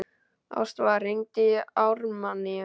Ástvar, hringdu í Ármanníu.